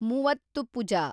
Muvattupuzha